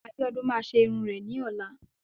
Abiodun máa ṣe irun rẹ̀ ní ọ̀la.